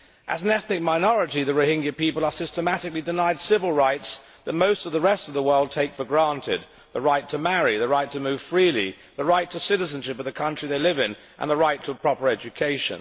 As an ethnic minority, the Rohingya people are systematically denied civil rights that most of the rest of the world take for granted the right to marry, the right to move freely, the right to citizenship of the country they live in, and the right to a proper education.